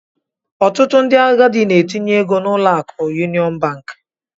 Ọtụtụ ndị agadi n'etinye ego n'ụlọ akụ yuniọn bank.